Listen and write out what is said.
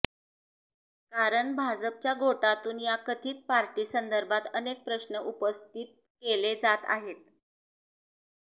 कारण भाजपच्या गोटातून या कथित पार्टी संदर्भात अनेक प्रश्न उपस्थित केले जात आहेत